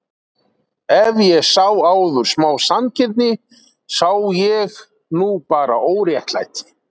Ef ég sá áður smá sanngirni sá ég nú bara óréttlæti.